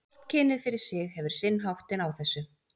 Hvort kynið fyrir sig hefur sinn háttinn á þessu.